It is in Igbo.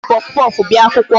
Ha ji puffpuff bịa akwụkwọ.